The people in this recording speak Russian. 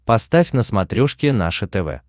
поставь на смотрешке наше тв